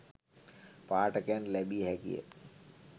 පාඨකයන්ට ලැබිය හැකිය.